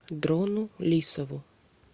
дрону лисову